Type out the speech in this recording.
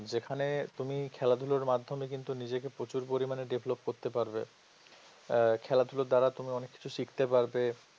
যেখানে তুমি খেলাধুলোর মাধ্যমে কিন্তু নিজেকে প্রচুর পরিমাণে develop করতে পারবে আহ খেলাধুলোর দ্বারা তুমি অনেক কিছু শিখতে পারবে